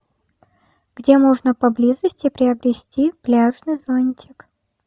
где можно поблизости приобрести пляжный зонтик